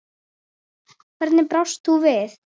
Hvernig brást þú við?